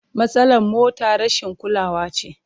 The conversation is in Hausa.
Matsalar motar rashin kulawa ce.